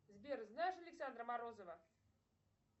сбер знаешь александра морозова